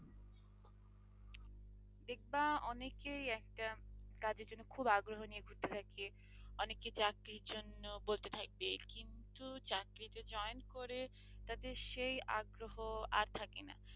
দেখবা অনেকেই একটা কাজের জন্য খুব আগ্রহ নিয়ে ঘুরতে থাকে অনেকে চাকরির জন্য বলতে থাকবে কিন্তু চাকরিতে joint করে তাদের সেই আগ্রহ আর থাকে না।